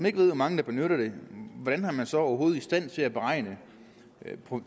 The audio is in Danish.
ikke ved hvor mange der benytter den hvordan er man så overhovedet i stand til at beregne